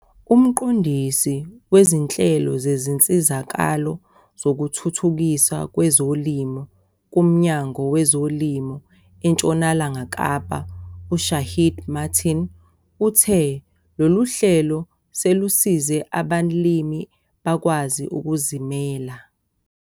Umqondisi wezinhlelo zezinsizakalo zokuthuthukiswa kwezolimo kuMnyango weZolimo eNtshonalanga Kapa u-Shaheed Martin uthe lolu hlelo selusize abalimi bakwazi ukuzimela.